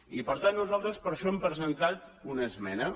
i per tant nosaltres per això hem presentat una esmena